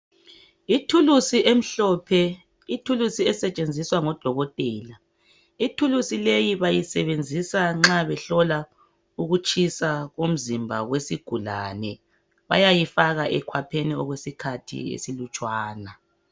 Ithulusi emhlophe ithulusi esetshenziswa ngodokotela ithulusi leyi bayisebenzisa nxa behlola ukutshisa komzimba wesigulane bayayi faka ekhwapheni okwesikhathi esilutshwana.